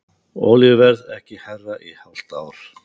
Olíuverð ekki hærra í hálft ár